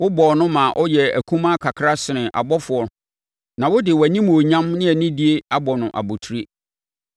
Wobɔɔ no ma ɔyɛɛ akumaa kakra sene abɔfoɔ na wode wʼanimuonyam ne anidie abɔ no abotire.